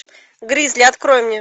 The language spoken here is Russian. гризли открой мне